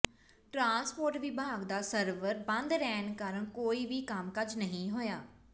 transport ਵਿਭਾਗ ਦਾ server ਬੰਦ ਰਹਿਣ ਕਾਰਨ ਕੋਈ ਵੀ ਕੰਮਕਾਜ ਨਹੀਂ ਹੋਇਆ